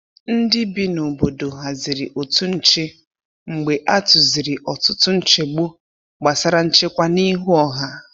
Ndị bi n’obodo haziri otu nche mgbe a tụziri ọtụtụ nchegbu gbasara nchekwa n’ihu ọha.